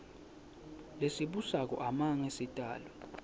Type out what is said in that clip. lesibusako amange sitalelwe